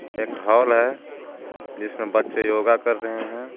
एक हॉल है जिसमें बच्चे योगा कर रहे है।